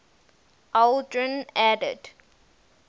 aldrin added